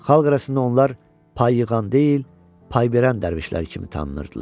Xalq arasında onlar pay yığan deyil, pay verən dərvişlər kimi tanınırdılar.